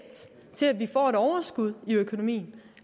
til at vi får et overskud i økonomien